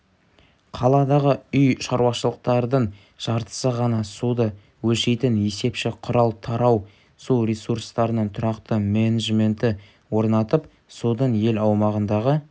қаладағы үй шаруашылықтардың жартысы ғана суды өлшейтін есепші құрал тарау су ресурстарының тұрақты менеджменті орнатып судың ел аумағындағы